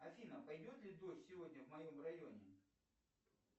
афина пойдет ли дождь сегодня в моем районе